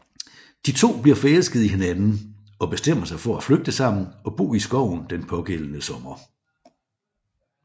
De to bliver forelsket i hinanden og bestemmer sig for at flygte sammen og bo i skoven den pågældende sommer